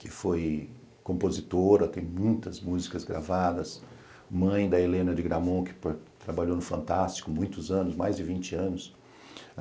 que foi compositora, tem muitas músicas gravadas, mãe da Helena de Gramont, que trabalhou no Fantástico muitos anos, mais de vinte anos.